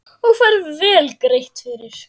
Og fær vel greitt fyrir.